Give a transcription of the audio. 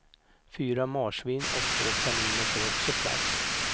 Fyra marsvin och två kaniner får också plats.